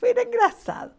Foi engraçado.